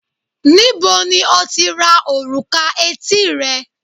níbo ni o ti ra òrùka etí rẹ